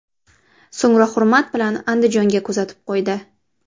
So‘ngra hurmat bilan Andijonga kuzatib qo‘ydi.